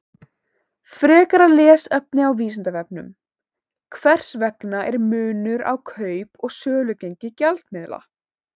Frekara lesefni á Vísindavefnum: Hvers vegna er munur á kaup- og sölugengi gjaldmiðla?